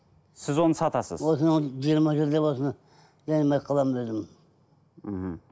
сіз оны сатасыз осы жиырма жылдап осыны ермек қыламын өзім мхм